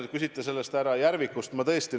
Te küsite härra Järviku kohta.